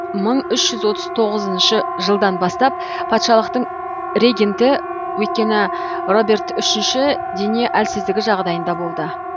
мың үш жүз отыз тоғызыншы жылдан бастап патшалықтың регенті өйткені роберт үшінші дене әлсіздігі жағдайында болды